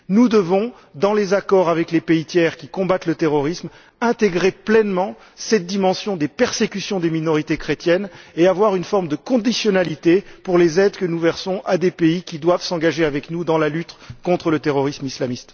Nous devons, dans les accords avec les pays tiers qui combattent le terrorisme, intégrer pleinement cette dimension des persécutions des minorités chrétiennes et prévoir une forme de conditionnalité pour les aides que nous versons aux pays qui doivent s'engager avec nous dans la lutte contre le terrorisme islamiste.